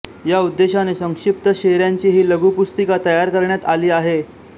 या उद्देशाने संक्षिप्त शेऱ्यांची ही लघुपुस्तिका तयार करण्यात आली आहे